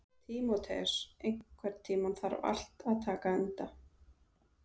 Tímoteus, einhvern tímann þarf allt að taka enda.